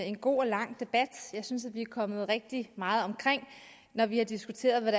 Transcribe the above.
en god og lang debat jeg synes vi er kommet omkring rigtig meget når vi har diskuteret hvad